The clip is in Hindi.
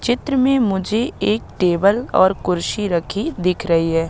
चित्र में मुझे एक टेबल और कुर्सी रखी दिख रही है।